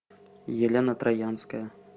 елена троянская